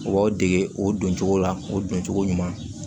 U b'aw dege o doncogo la o don cogo ɲuman